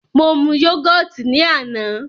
Mo mu yógọ̀tì ní àná.